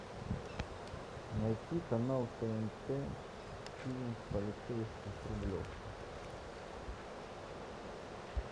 найти канал тнт фильм полицейский с рублевки